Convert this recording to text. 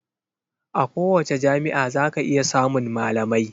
A kowace jami'a zaka iya samun malamai.